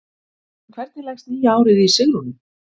En hvernig leggst nýja árið í Sigrúnu?